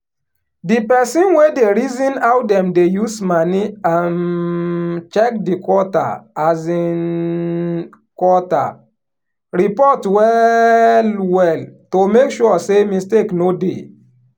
di person wey dey reason how dem dey use moni um check di quarter um quarter report well well to make sure say mistake no dey.